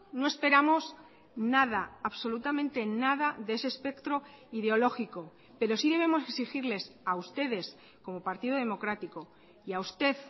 no esperamos nada absolutamente nada de ese espectro ideológico pero sí debemos exigirles a ustedes como partido democrático y a usted